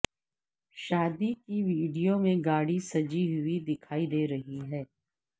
شادی کی ویڈیو میں گاڑی سجی ہوئی دکھائی دے رہی ہے